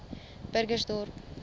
burgersdorp